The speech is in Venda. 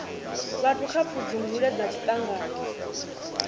vhathu kha pfudzungule dza zwiṱangani